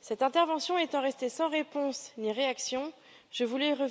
Cette intervention étant restée sans réponse ni réaction, je voulais y revenir.